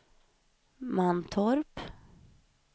Mantorp